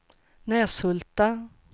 Näshulta